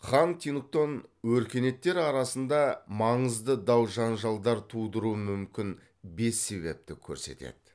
хантингтон өркениеттер арасында маңызды дау жанжалдар тудыруы мүмкін бес себепті көрсетеді